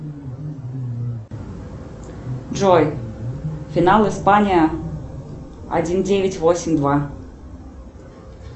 джой финал испания один девять восемь два